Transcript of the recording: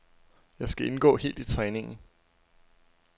Jeg skal indgå helt i træningen.